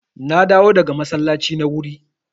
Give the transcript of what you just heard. Na dawo daga masallaci na wuri.